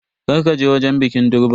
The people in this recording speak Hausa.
Kar ka je wajen bikin durban.